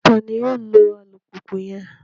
Tani yoo lo alupupu yẹn?